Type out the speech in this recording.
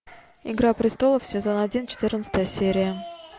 игра престолов сезон один четырнадцатая серия